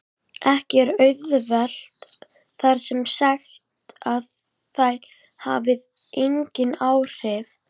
Ekki er auðvitað þar með sagt að þær hafi engin áhrif!